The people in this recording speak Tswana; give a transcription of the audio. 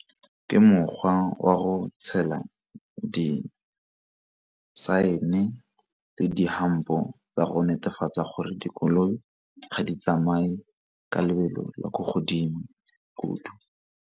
Ke mokgwa wa go di saene le di-hump-o tsa go netefatsa gore dikoloi ga di tsamaye ka lebelo le ko godimo kudu.